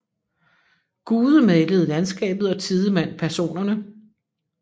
Gude malede landskabet og Tidemand personerne